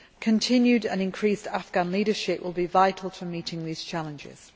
Continued and increased Afghan leadership will be vital to meeting these challenges.